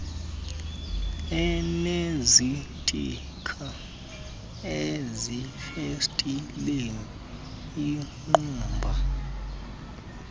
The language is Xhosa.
enezitikha ezifestileni iingqumba